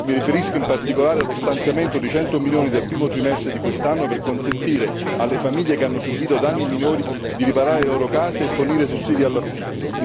Mi riferisco in particolare allo stanziamento di 100 milioni del primo trimestre di quest'anno, per consentire alle famiglie che hanno subito danni minori di riparare le loro case e fornire sussidi all'affitto.